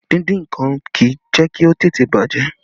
Díndín nǹkan kì í jẹ́ kí ó tètè bàjẹ́